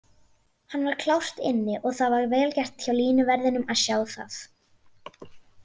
Hann var klárt inni og það var vel gert hjá línuverðinum að sjá það.